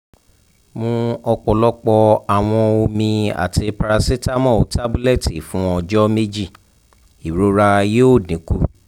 mu ọpọlọpọ awọn omi ati paracetamol tabulẹti fun ọjọ meji irora yoo dinku